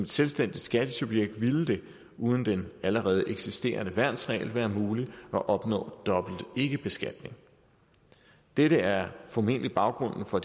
selvstændigt skattesubjekt ville det uden den allerede eksisterende værnsregel være muligt at opnå dobbelt ikkebeskatning dette er formentlig baggrunden for